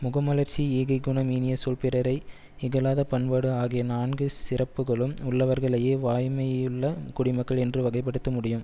முகமலர்ச்சி ஈகைக்குணம் இனியசொல் பிறரை இகழாத பண்பாடு ஆகிய நான்கு சிறப்புகளும் உள்ளவர்களையே வாய்மையுள்ள குடிமக்கள் என்று வகைப்படுத்த முடியும்